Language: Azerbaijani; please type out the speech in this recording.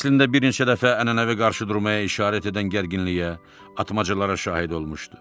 Əslində bir neçə dəfə ənənəvi qarşıdurmaya işarət edən gərginliyə, atmacalara şahid olmuşdu.